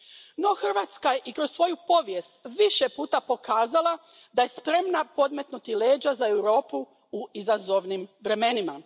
No Hrvatska je i kroz svoju povijest više puta pokazala da je spremna podmetnuti leđa za Europu u izazovnim vremenima.